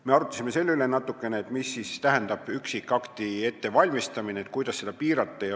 Me arutlesime natukene, mida siis tähendab üksikakti ettevalmistamine ja kuidas seda piirata.